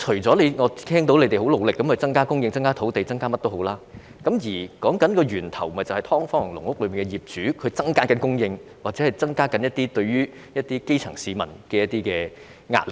我聽到官員表示已很努力增加房屋供應、增加土地、增加這樣那樣，但問題的源頭是"劏房"和"籠屋"業主不斷增加供應，加添對基層市民造成的壓力。